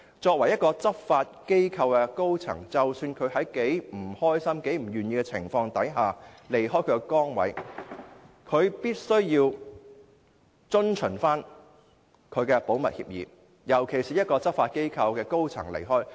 身為一間執法機構的高層，即使她在多麼不愉快、多麼不願意的情況下離開崗位，亦必須遵守保密協議，尤其是她是一間執法機構的高層人員。